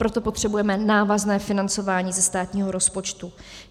Proto potřebujeme návazné financování ze státního rozpočtu.